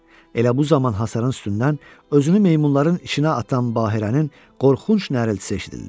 Elə bu zaman hasarın üstündən özünü meymunların içinə atan Bahirənin qorxunc nəriltisi eşidildi.